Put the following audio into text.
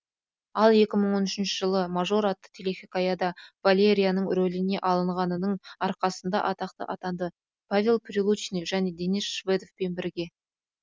ал екі мың он үшінші жылы мажор атты телехикаяда валерияның рөліне алынғанының арқасында атақты атанды павел прилучный және денис шведовпен бірге